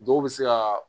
Dɔw bɛ se ka